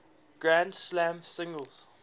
grand slam singles